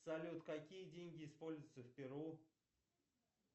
салют какие деньги используются в перу